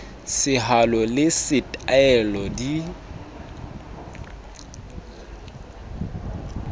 sehalo le se taele di